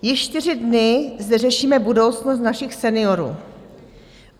Již čtyři dny zde řešíme budoucnost našich seniorů.